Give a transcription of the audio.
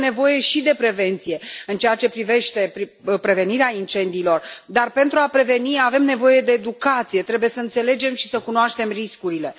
Este nevoie și de prevenție în ceea ce privește prevenirea incendiilor dar, pentru a preveni, avem nevoie de educație, trebuie să înțelegem și să cunoaștem riscurile.